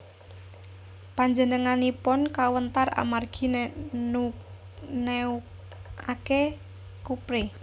Panjenenganipun kawentar amargi neukake Kouprey